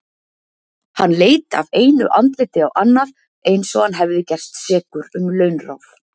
Hann leit af einu andliti á annað eins og hann hefði gerst sekur um launráð.